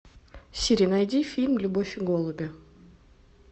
сири найди фильм любовь и голуби